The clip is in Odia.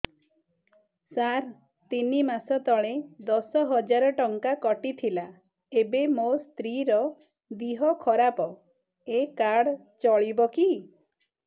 ସାର ତିନି ମାସ ତଳେ ଦଶ ହଜାର ଟଙ୍କା କଟି ଥିଲା ଏବେ ମୋ ସ୍ତ୍ରୀ ର ଦିହ ଖରାପ ଏ କାର୍ଡ ଚଳିବକି